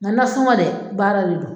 Nga nasɔgɔn dɛ baara de do.